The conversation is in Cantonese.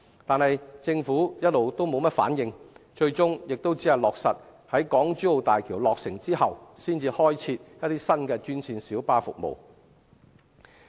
然而，政府卻遲遲沒有回應，最終亦只是落實在港珠澳大橋落成之後，才開設新專線小巴服務。